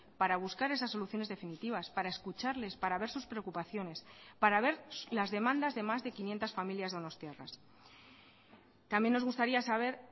para buscar esas soluciones definitivas para escucharles para ver sus preocupaciones para ver las demandas de más de quinientos familias donostiarras también nos gustaría saber